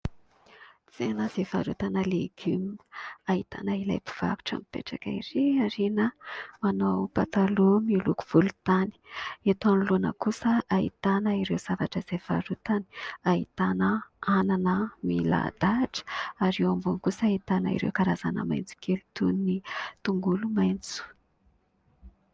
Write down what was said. Tsena fivarotana legioma, ahitana ilay mpivarotra mipetraka ery aoriana manao pataloha miloko volontany. Eto anoloana kosa ahitana ireo zavatra izay varotany, ahitana anana milahadahatra ary eo ambony kosa ahitana ireo karazana maintsokely toin' ny tongolo maintso.